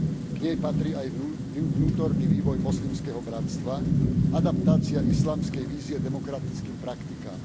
K nej patrí aj vnútorný vývoj Moslimského bratstva, adaptácia islamskej vízie demokratickým praktikám.